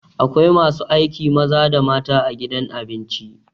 Akwai masu aiki maza da mata a gidan abinci.